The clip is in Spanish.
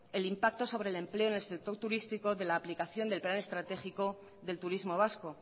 el impacto sobre el empleo del sector turístico de la aplicación del plan estratégico del turismo vasco